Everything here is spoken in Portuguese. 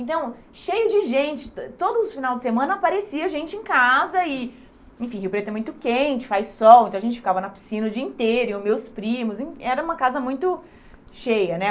Então, cheio de gente, eh todo final de semana aparecia gente em casa e, enfim, Rio Preto é muito quente, faz sol, então a gente ficava na piscina o dia inteiro, e os meus primos, em era uma casa muito cheia, né?